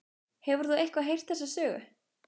Hefur þú eitthvað heyrt þessa sögu?